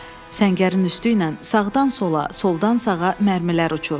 Səngərin üstüylə sağdan sola, soldan sağa mərmilər uçur.